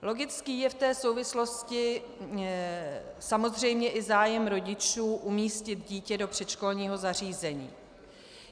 Logický je v té souvislosti samozřejmě i zájem rodičů umístit dítě do předškolního zařízení.